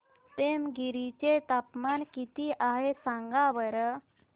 पेमगिरी चे तापमान किती आहे सांगा बरं